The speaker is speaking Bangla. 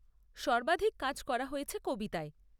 সর্বাধিক কাজ হয়েছে কবিতায়।